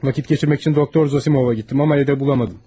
Vaxt keçirmək üçün Doktor Zosimovun yanına getdim, amma evdə tapa bilmədim.